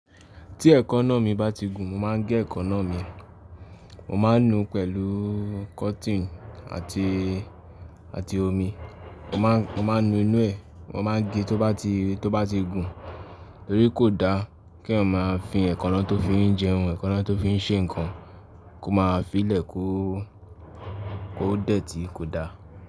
Tí ẹ̀kànná mi bá ti gùn mo máa gé ẹ̀kànná mi, mo máa nu pẹ̀lú cotton àti, àti omi. Mo máa, mo máa nu inú ẹ̀, mo máa gé tó bá ti, tó bá ti gùn, tórí kò da kí eyan ma fi ẹ̀kànná tó fi ń jẹun, ẹ̀kànná tó fi ń ṣe nǹkan kó máa fi lẹ̀ kó, kó dẹ́ tí kò da.